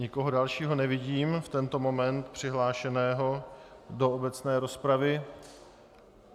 Nikoho dalšího nevidím v tento moment přihlášeného do obecné rozpravy.